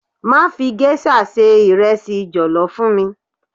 Má fi géṣà ṣe ìrẹsì jọ̀lọ́ fún mi.